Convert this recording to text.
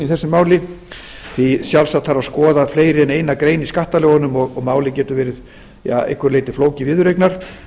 þessu máli því sjálfsagt þarf að skoða fleiri en eina grein í skattalögunum og málið getur verið að einhverju leyti flókið viðureignar